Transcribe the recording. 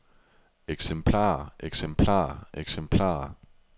eksemplarer eksemplarer eksemplarer